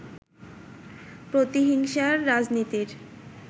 প্রতিহিংসার রাজনীতির